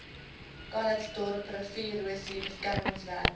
calitzdorp riviererosie beskermingswerke